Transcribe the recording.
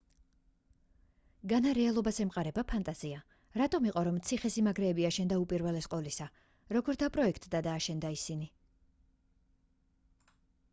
განა რეალობას ემყარება ფანტაზია რატომ იყო რომ ციხე-სიმაგრეები აშენდა უპირველეს ყოვლისა როგორ დაპროექტდა და აშენდა ისინი